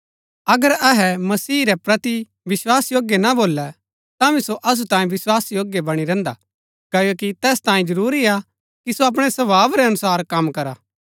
अगर अहै मसीह रै प्रति विस्वासयोग्य ना भोलै तांभी सो असु तांये विस्वासयोग्य बणी रहन्‍दा क्ओकि तैस तांये जरूरी हा कि सो अपणै स्वभाव रै अनुसार कम करा